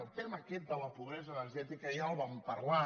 el tema aquest de la pobresa energètica ja el vam parlar